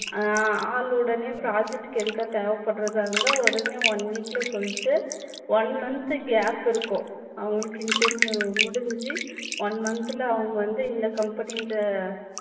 அஹ் ஆள் உடனே project க்கு எடுக்க தேவைப்பட்றதா இருந்தா உடனே one week ல சொல்லிட்டு one month gap இருக்கும் அவங்களுக்கு interview முடிஞ்சு one month ல அவங்க வந்து இந்த company ல